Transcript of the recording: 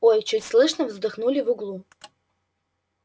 ой чуть слышно вздохнули в углу